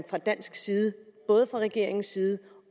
fra dansk side både fra regeringens side